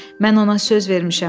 Mən ona söz vermişəm.